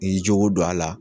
I y'i jogo don a la.